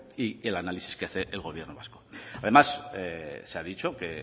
y que el análisis que hace el gobierno vasco además se ha dicho que